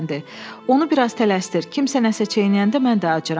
Onu biraz tələsdir, kimsə nəsə çeynəyəndə mən də acıram.